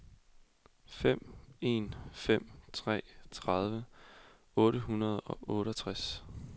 fem en fem tre tredive otte hundrede og otteogtres